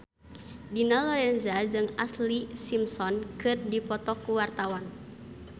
Dina Lorenza jeung Ashlee Simpson keur dipoto ku wartawan